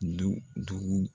Du duu.